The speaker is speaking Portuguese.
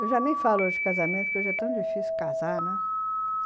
Eu já nem falo de casamento, porque hoje é tão difícil casar, né?